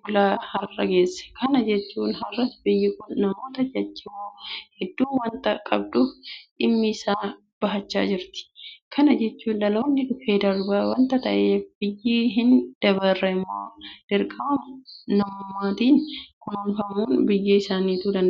bulaa har'a geesse. Kana jechuun har'as biyyi kun namoota jajjaboo hedduu waanta qabduuf dhimma itti bahachaa jirti. Kana jechuun dhaloonni dhufee darbaa waanta ta'eef biyya hin dabarre immoo dirqama namummaatiin kunuunfachuun biyya sanattu danda'ameera.